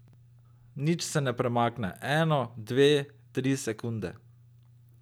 Nič se ne premakne, eno, dve, tri sekunde.